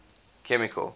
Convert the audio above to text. chemical